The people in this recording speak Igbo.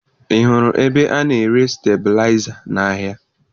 Ị hụrụ ebe a na-ere stebilaịza n'ahịa?